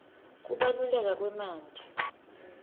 kubaluleka kwemanti